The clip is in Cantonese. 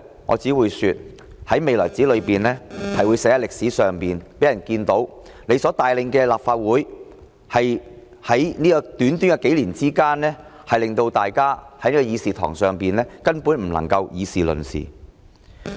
我只會說，在未來的日子裏，梁主席的所作所為將會寫在歷史上，讓人們看到在短短數年間，他所帶領的立法會令到大家在議事堂根本不能議事論事。